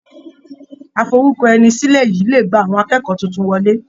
Aforúkọẹnisílẹ̀ yìí le gba àwọn akẹ́kọ̀ọ́ tuntun wọlé.